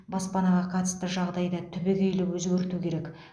баспанаға қатысты жағдайда түбегейлі өзгерту керек